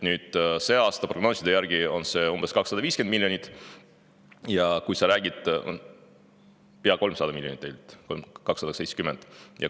See aasta on see prognooside järgi umbes 250 miljonit, tegelikult pea 300 miljonit, 270 miljonit.